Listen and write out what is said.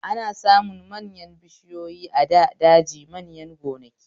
Ana samun manyan bishiyoyi a da daji manya gonaki